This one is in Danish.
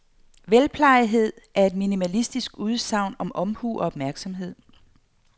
Velplejetheden er et minimalistisk udsagn om omhu og opmærksomhed.